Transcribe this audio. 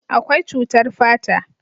akwai cutar fata